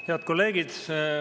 Head kolleegid!